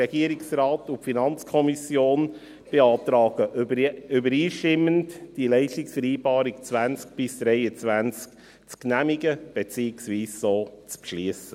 Der Regierungsrat und die FiKo beantragen übereinstimmend, die Leistungsvereinbarung 2020–2023 zu genehmigen, beziehungsweise diese so zu beschliessen.